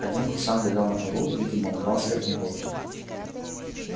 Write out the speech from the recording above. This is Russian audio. один курсант лежал на полу видимо упал с верхней полки